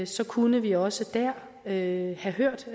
så kunne vi også der have hørt